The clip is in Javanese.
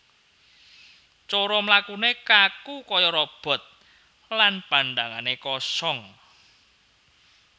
Cara mlakune kaku kaya robot lan pandhangane kosong